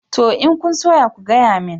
Toh. In kun soya ku gayamin